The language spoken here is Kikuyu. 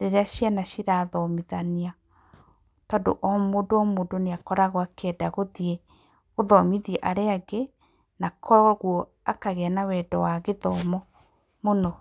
rĩrĩa ciana cirathomithania tondũ o mũndũ o mũndũ nĩ akoragwo akĩenda gũthiĩ gũthomithia arĩa angĩ na kwoguo akagĩa na wendo wa gĩthomo mũno.